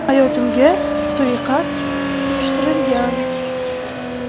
Hayotimga suiqasd uyushtirilgan.